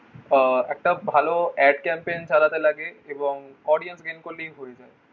আহ একটা ভালো add campaign চালাতে লাগে এবং audience gain করলেই হয়ে যায়